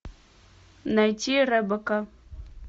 найти ребекка